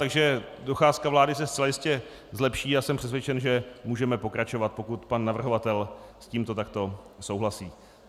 Takže docházka vláda se zcela jistě zlepší a jsem přesvědčen, že můžeme pokračovat, pokud pan navrhovatel s tímto takto souhlasí.